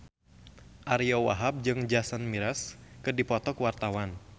Ariyo Wahab jeung Jason Mraz keur dipoto ku wartawan